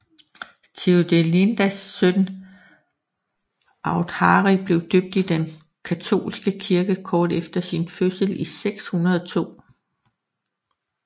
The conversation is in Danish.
Theodelindas søn med Authari blev døbt i den katolske kirke kort efter sin fødsel i 602